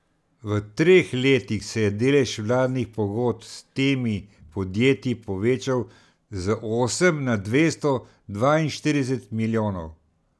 V treh letih se je delež vladnih pogodb s temi podjetji povečal z osem na dvesto dvainštirideset milijonov.